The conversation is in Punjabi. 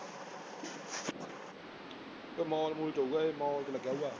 ਇਹ ਮਾਲ ਮੂਲ ਚ ਹੋਊਗਾ ਇਹ ਮਾਲ ਚ ਲਗਿਆ ਹੋਊਗਾ